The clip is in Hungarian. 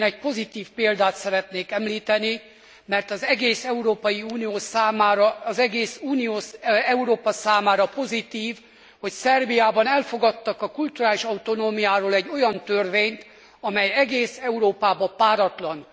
Én egy pozitív példát szeretnék említeni, mert az egész Európai Unió számára, egész Európa számára pozitív, hogy Szerbiában elfogadtak a kulturális autonómiáról egy olyan törvényt, amely egész Európában páratlan.